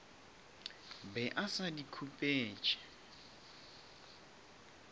be a sa di khupetše